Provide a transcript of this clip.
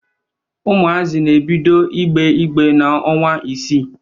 Ụmụazị na ebido ịgbe ịgbe n'ọnwa isii